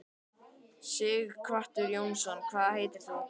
Sighvatur Jónsson: Hvað heitir þú?